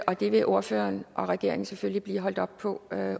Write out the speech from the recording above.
og det vil ordføreren og regeringen selvfølgelig blive holdt op på